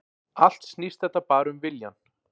Allt snýst þetta bara um viljann